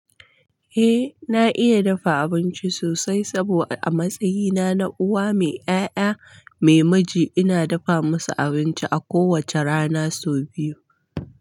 Eh na iya dafa abinci sosai saboda a matsayina na uwa mai ƴaƴa mai miji ina dafa musu abinci a kowace rana sau biyu.